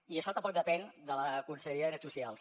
i això tampoc depèn de la conselleria de drets socials